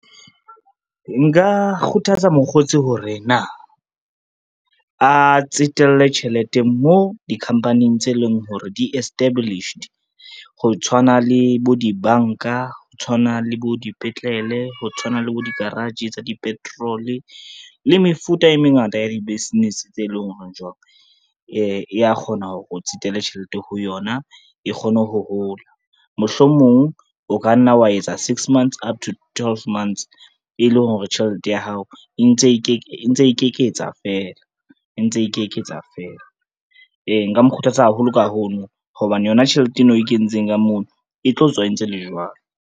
Nka kgothatsa mokgotsi hore na, a tsetelle tjhelete moo di-company-ing tse leng hore di-established, ho tshwana le bo dibanka, ho tshwana le bo dipetlele, ho tshwana le bo di-garage tsa di-petrol le mefuta e mengata ya di-business tse leng hore jwang e ya kgona hore o tsetele tjhelete ho yona e kgone ho hola. Mohlomong o ka nna wa etsa six months up to twelve months e leng hore tjhelete ya hao e ntse e ikeketsa fela, e ntse e ikeketsa fela. Ee nka mo kgothatsa haholo ka hono hobane yona tjhelete eno e we kentseng ka mono e tlo tswa entse le jwalo.